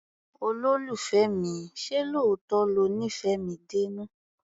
Olólùfẹ́ mi, ṣé lóòótọ́ lo nífẹ̀ẹ́ mi dénú?